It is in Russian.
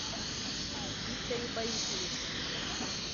викторе борисовиче